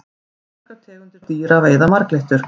fjölmargar tegundir dýra veiða marglyttur